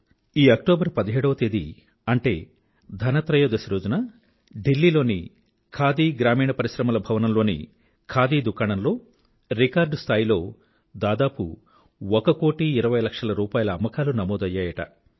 ఈ అక్టోబర్ పదిహేడవ తేదీ అంటే ధన్ తెరస్ రోజున ఢిల్లీ లోని ఖాదీ గ్రామీణ పరిశ్రమల భవనంలోని ఖాదీ దుకాణం లో రికార్డ్ స్థాయిలో దాదాపు ఒక కోటి ఇరవై లక్షల రూపాయిల అమ్మకాలు నమోదయ్యాయిట